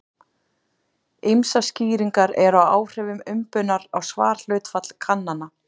Ýmsar skýringar eru á áhrifum umbunar á svarhlutfall kannana.